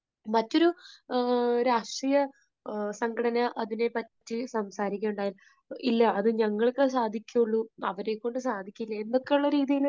മറ്റൊരു രാഷ്ട്രീയ സംഘടനാ അതിനെപ്പറ്റി സംസാരിക്കുകയുണ്ടായി, ഇല്ല, അത് ഞങ്ങൾക്കേ സാധിക്കുകയുള്ളൂ, അവരെക്കൊണ്ട് സാധിക്കുകയില്ല എന്നൊക്കെയുള്ള രീതിയിൽ